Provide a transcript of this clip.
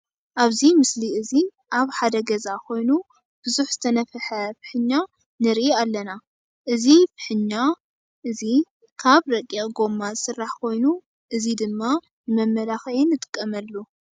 ኣብዚ ምስሊ እዚ ኣብ ሓደ ገዛ ኮኑ ቡዙሕ ዝተነፈሐ ንፍሕኛ ንርኢ ኣለና። እዚ እዚ ንፍሕኛ እዚ ካበ ረቂቅ ጎማ ዝስራሕ ኮይኑ እዚ ድማ ንመመላኪዒ ንጥቀመሉ።